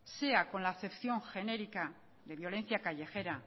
sea con la acepción genérica de violencia callejera